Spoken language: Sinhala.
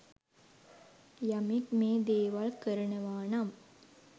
යමෙක් මේ දේවල් කරනවා නම්